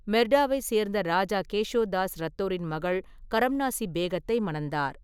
மெர்டாவைச் சேர்ந்த ராஜா கேஷோ தாஸ் ரத்தோரின் மகள் கரம்னாசி பேகத்தை மணந்தார்.